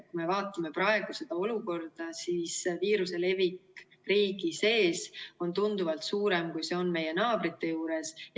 Kui me vaatame praegu seda olukorda, siis viiruse levik riigi sees on tunduvalt suurem, kui see on meie naabrite juures.